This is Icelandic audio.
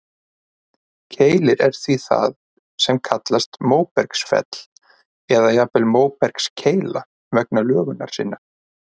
Keilir er því það sem kallast móbergsfell, eða jafnvel móbergskeila vegna lögunar sinnar.